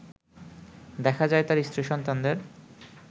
দেখা যায় তার স্ত্রী-সন্তানদের